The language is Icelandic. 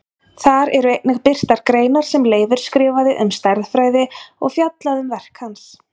Þar eru einnig birtar greinar sem Leifur skrifaði um stærðfræði og fjallað um verk hans.